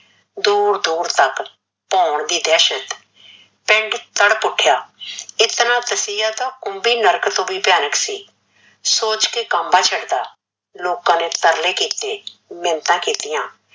ਦੂਰ ਦੂਰ ਤੱਕ ਭੋਣ ਦੀ ਦਹਿਸ਼ਤ, ਪਿੰਡ ਤੜਪ ਉੱਠਿਆ, ਇਤਨਾ ਤਸੀਹਾ ਤਾਂ ਕੁਮਬੀ ਨਰਕ ਤੋਂ ਵੀ ਭਿਆਨਕ ਸੀ, ਸੋਚ ਕੇ ਕਾਂਬਾ ਛੀੜਦਾ, ਲੋਕਾ ਨੇ ਤਰਲੇ ਕੀਤੇ, ਮਿਣਤਾ ਕੀਤੀਆ,